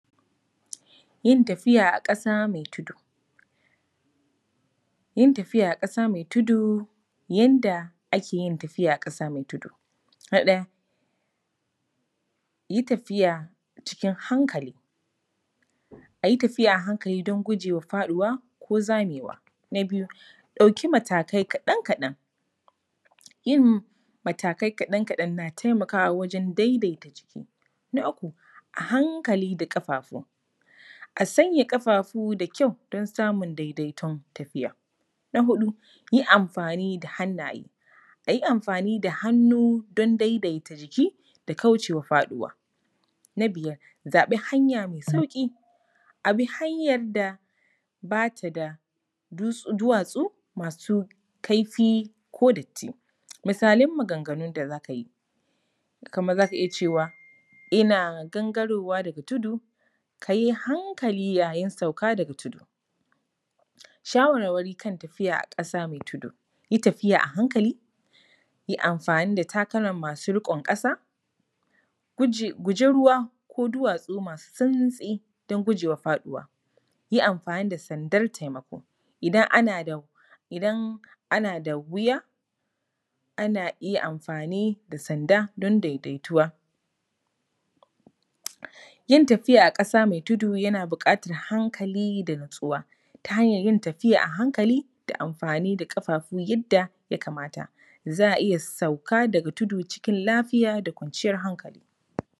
Yin tafiya a ƙasa mai tudu. Yin tafiya a ƙasa mai tudu. Yadda ake yin tafiya a ƙasa mai tudu: na ɗaya, yi tafiya cikin hankali, a yi tafiya a hankali don guje wa faɗuwa ko zamewa. Na biyu, ɗauki matakai kaɗan kaɗan, yin matakai kaɗan kaɗan na taimakawa wajen daidaita jiki. Na uku, a hankali da ƙafafu, Na uku, a hankali da ƙafafu, a sanya ƙafafu da kyau don samun daidaiton tafiya. Na huɗu, yi amfani da hannaye, a yi amfani da hannu don daidaita jiki da kauce wa faɗuwa. Na biyar, zaɓi hanya mai sauƙi, a bi hanyar da ba ta da duwatsu, masu kaifi ko datti. Misalan maganganun da za ka yi: kamar za ka iya cewa, ‘ina gangarowa daga tudu’, ‘ka yi hankali yayin sauka daga tudu’. Shawarwari kan tafiya a ƙasa mai tudu: yi tafiya a hankali, yi amfani da takalma masu riƙon ƙasa, guji ruwa ko duwatsu masu santsi don guje wa faɗuwa, yi amfani da sandar taimako, idan ana da wuya, ana iya amfani da sanda don daidaituwa. Yin tafiya a ƙasa mai tudu yana buƙatar hankali da natsuwa ta hanyar yin tafiya a hankali da amfani da ƙafafu yadda ya kamata. Za a iya sauka daga tudu cikin lafiya da kwanciyar hankali.